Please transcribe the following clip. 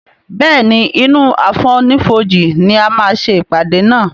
Béèni inú àfonífojì ní a má ṣe ìpàdé nà.